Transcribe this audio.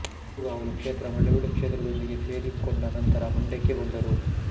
ಕಿರುಗಾವಲು ಕ್ಷೇತ್ರ ಮಳವಳ್ಳಿ ಕ್ಷೇತ್ರದೊಂದಿಗೆ ಸೇರಿಕೊಂಡ ನಂತರ ಮಂಡ್ಯಕ್ಕೆ ಬಂದರು